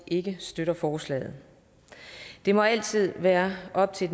ikke støtter forslaget det må altid være op til